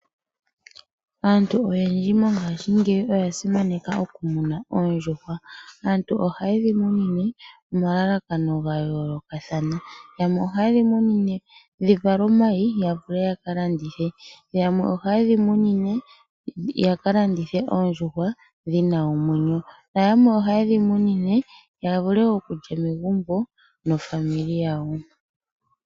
Aantu oyendji mongashi ngeyi oya simaneka okumuna ondjuhwa, aantu oha yedhimunine oma lalakano gayoloka thana yamwe oha yedhimunine dhivale omayi yavule yakalandithe, yamwe oha dhimunine yakalandithe oondjuhwa dhina omwenyo, nayamwe oha dhimunine yavule okulya megumbo nofamili yawo.